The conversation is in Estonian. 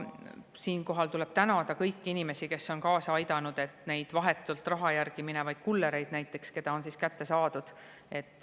Siinkohal tuleb tänada kõiki inimesi, kes on kaasa aidanud, et näiteks neid vahetult raha järgi minevaid kullereid kätte saada.